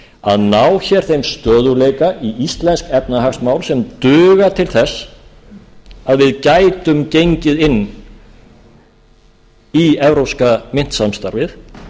að ná hér þeim stöðugleika í íslensk efnahagsmál sem duga til þess að við gætum gengið inn í evrópska myntsamstarfið